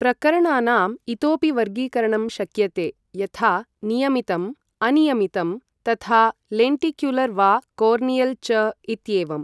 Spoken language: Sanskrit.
प्रकरणानाम् इतोपि वर्गीकरणं शक्यते यथा नियमितम् अनियमितं थथा लेण्टिक्युलर् वा कोर्नियल् च इत्येवम्